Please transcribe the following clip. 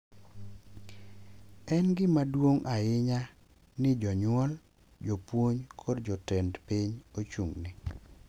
En gima duong’ ahinya ni jonyuol, jopuonj, kod jotend piny ochung’ ne